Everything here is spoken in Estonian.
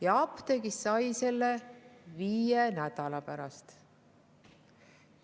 Ja apteegist sai selle ravimi viie nädala pärast.